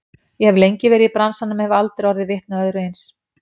Ég hef lengi verið í bransanum en hef aldrei orðið vitni að öðru eins.